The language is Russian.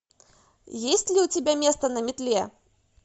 есть ли у тебя место на метле